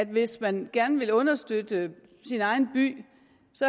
hvis man vil understøtte sin egen by